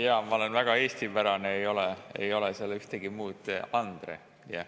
Jaa, ma olen väga eestipärane, ei ole seal midagi muud: Andre.